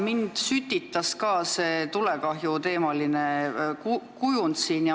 Mind sütitas ka see tulekahjuteemaline kujund.